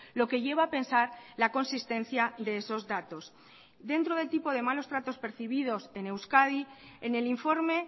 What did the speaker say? lo que lleva a pensar la consistencia de esos datos dentro del tipo de malos tratos percibidos en euskadi en el informe